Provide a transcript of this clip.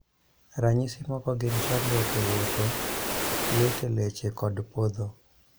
Ranyisi moko gin chandruok e wuotho, lit e leche kod podho